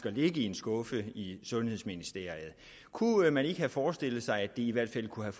at ligge i en skuffe i sundhedsministeriet kunne man så ikke have forestillet sig at det i hvert fald kunne